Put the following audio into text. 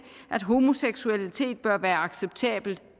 at homoseksualitet bør være acceptabelt